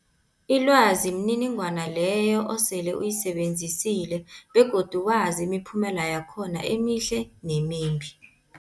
Ilwazi mniningwana leyo osele uyisebenzisile begodu wazi imiphumela yakhona emihle nemimbi.